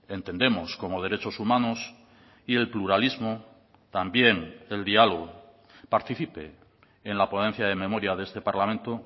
entendemos como derechos humanos y el pluralismo también el diálogo participe en la ponencia de memoria de este parlamento